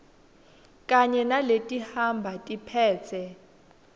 kanye naletihamba tiphetse